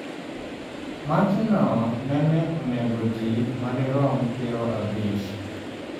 Machno nene onego ji madirom pirabich.